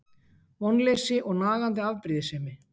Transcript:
Vonleysi og nagandi afbrýðisemi.